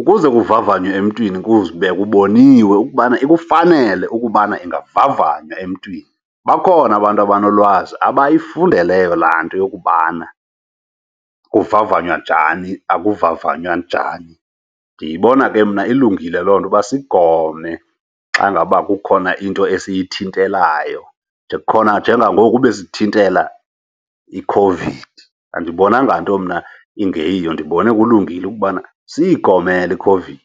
Ukuze kuvavanywe emntwini kuze kube kuboniwe ukubana ikufanele ukubana ingavavanywa emntwini. Bakhona abantu abanolwazi abayifundeleyo laa nto yokokubana kuvavanywa njani, akuvavanywa njani. Ndiyibona ke mna ilungile loo nto uba sigome xa ngaba kukhona into esiyithentalayo nje, khona njengangoku besithintela iCOVID. Andibonanga nto mna ingeyiyo, ndibone kulungile ukubana siyigomele iCOVID.